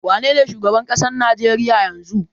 Wanene shugaban ƙasar Najeriya yanzu?